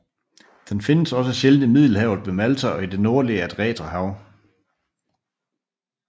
Den findes også sjældent i Middelhavet ved Malta og i det nordlige Adriaterhav